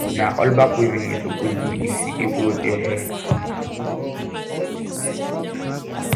na allback weaving you suppose do if you dey grow your hair